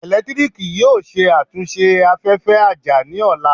Eletiriki yoo ṣe atunṣe afẹfẹ aja ni ọla